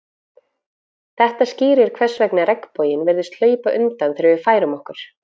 þetta skýrir hvers vegna regnboginn virðist hlaupa undan þegar við færum okkur